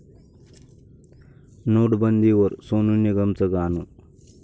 नोटबंदीवर सोनू निगमचं गाणं